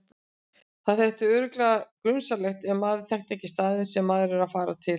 Það þætti örugglega grunsamlegt ef maður þekkti ekki staðinn sem maður var að fara til.